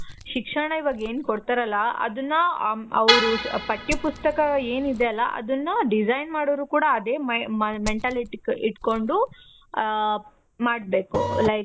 ಶಿಕ್ಷಣ ಇವಾಗ್ ಏನು ಕೊಡ್ತಾರಲ ಅದುನ್ನ ಅವ್ರು ಅದುನ್ನ ಪಟ್ಯ ಪುಸ್ತಕ ಏನು ಇದೆ ಅಲ ಅದುನ್ನ design ಮಾಡೋರು ಕೂಡ ಅದೇ mentality ಇಟ್ಕೊಂಡು ಮಾಡ್ಬೇಕು.